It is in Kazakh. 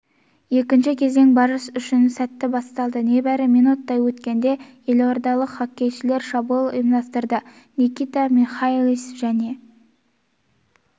екінші кезең барыс үшін сәтті басталды небәрі минуттай өткенде елордалық хоккейшілер шабуыл ұйымдастырды никита михайлис және